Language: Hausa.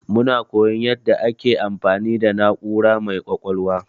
Muna koyon yanda ake amfani da na'ura mai ƙwaƙwalwa.